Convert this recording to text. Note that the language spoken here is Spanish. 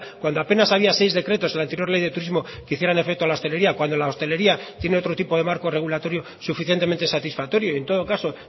cuando apenas había seis decretos en la anterior ley de turismo que hicieran efecto a la hostelería cuando la hostelería tiene otro tipo de marco regulatorio suficientemente satisfactorio y en todo caso